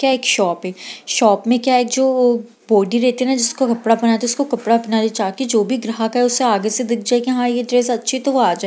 की ये एक शॉप है शॉप में क्या है जो बॉडी रहती हैं ना जिसको कपड़ा पहनाती है उसको कपड़ा पहना दी उसको कपड़ा पहना दी ताकि जो भी ग्राहक है उसको आगे से दिख जाए की हाँ ये ड्रेस अच्छी है तो वो आ जाए --